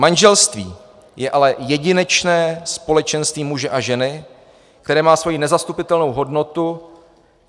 Manželství je ale jedinečné společenství muže a ženy, které má svoji nezastupitelnou hodnotu.